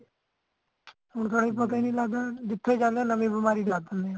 ਹੋਰ ਤਾਹੀ ਪਤਾ ਨਹੀਂ ਲੱਗਦਾ ਜਿੱਥੇ ਜਾਂਦੇ ਨਵੀਂ ਬਿਮਾਰੀ ਜਾਗ ਪੈਂਦੀ ਹੈ